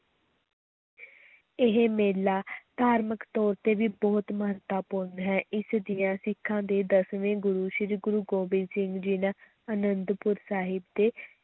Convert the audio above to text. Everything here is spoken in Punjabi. ਇਹ ਮੇਲਾ ਧਾਰਮਕ ਤੌਰ 'ਤੇ ਵੀ ਬਹੁਤ ਮਹੱਤਵਪੂਰਨ ਹੈ, ਇਸ ਦੀਆਂ ਸਿੱਖਾਂ ਦੇ ਦਸਵੇਂ ਗੁਰੂ ਸ੍ਰੀ ਗੁਰੂ ਗੋਬਿੰਦ ਸਿੰਘ ਜੀ ਨੇ ਅਨੰਦਪੁਰ ਸਾਹਿਬ ਦੇ